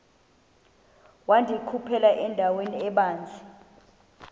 wandikhuphela endaweni ebanzi